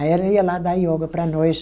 Aí ela ia lá dar yoga para nós.